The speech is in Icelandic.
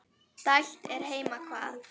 dælt er heima hvað.